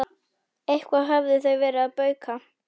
Eitthvað höfðu þau verið að bauka.